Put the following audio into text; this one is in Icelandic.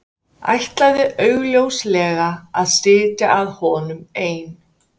Ætlaði augljóslega að sitja að honum ein.